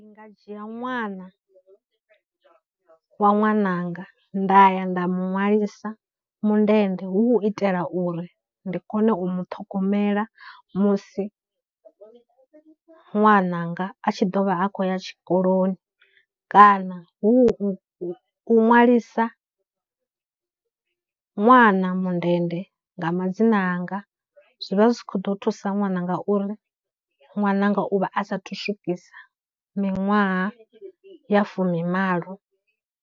Nga dzhia ṅwana wa ṅwananga nda ya nda mu ṅwalisa mundende hu u itela uri ndi kone u muṱhogomela musi ṅwananga a tshi ḓo vha a khou ya tshikoloni kana hu, u ṅwalisa ṅwana mundende nga madzina anga zwi vha zwi khou ḓo thusa ṅwananga uri ṅwananga u vha a sathu swikisa miṅwaha ya fumimalo.